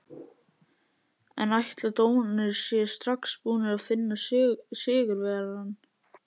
En ætli dómararnir séu strax búnir að finna sigurvegarann?